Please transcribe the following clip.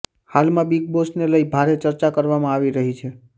હાલમાં બિગ બોસને લઈ ભારે ચર્ચા કરવામાં આવી રહી છે